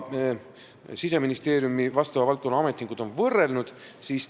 Siseministeeriumi vastava valdkonna ametnikud on teinud võrdluse.